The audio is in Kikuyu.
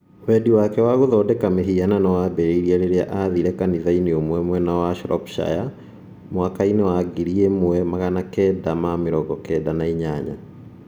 Wendi wake wa gũthondeka mĩhianano waambĩrĩirie rĩrĩa aathire kanitha-inĩ ũmwe mwena wa Shropshire 1998.